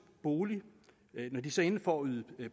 bolig for at yde